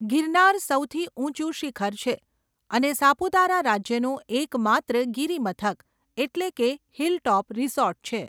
ગિરનાર સૌથી ઊંચું શિખર છે, અને સાપુતારા રાજ્યનું એકમાત્ર ગિરિમથક એટલે કે હિલટોપ રિસોર્ટ છે.